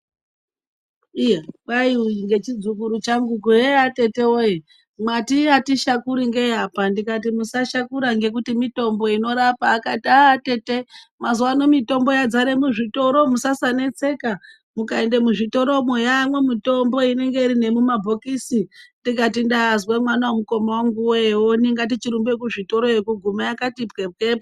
Iya kwai ngechidzukuru changu heya atete mwati atishakuri ngei apa ndikati musashakura ngekuti mitombo inorapa. Akati atete mazuwano mitombo yadzare muzvitoro musasaneseka. Mukaende muzvitoromwo yaamwo mitombo inoti nemumabhokisi. Ndikati ndazwa mwana wemukoma wangu ewoni ngatichirumbeyo kuzvitoto iyoyo kugumeyo yakati pwepwepwe.